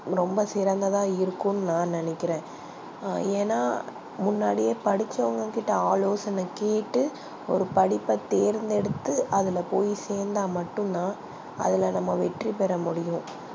ரொம்ப சிறந்ததா இருக்கும்னு நா நினைக்கிறன் ஏனா முன்னாடி படிச்சவங்க கிட்ட ஆலோசனை கேட்டு ஒரு படிப்ப தேர்தெடுத்து அதுல போய் சேந்தா மட்டும் தா அதுல நம்ப வெற்றி பெற முடியும்